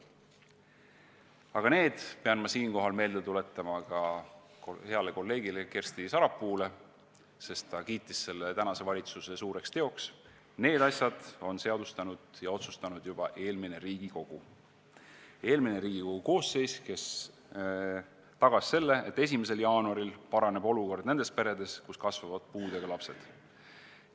Aga need asjad – ma pean siinkohal meelde tuletama ka heale kolleegile Kersti Sarapuule, kes kiitis seda kui tänase valitsuse suurt tegu – on seadustanud ja otsustanud juba eelmine Riigikogu koosseis, kes tagas selle, et 1. jaanuaril paraneb olukord nendes peredes, kus kasvavad puudega lapsed.